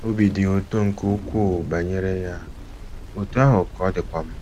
Obi dị ya ụtọ nke ukwuu banyere ya, ya, otú ahụ ka ọ dịkwa m!